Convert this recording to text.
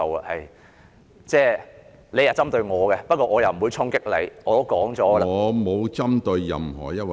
雖然你針對我，但我不會衝擊你，我早已說明......